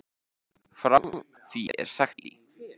Frá því er sagt í